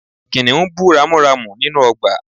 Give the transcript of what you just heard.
Kìnìún bú ramúramù nínú ọgbà